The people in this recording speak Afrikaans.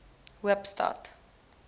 hoopstad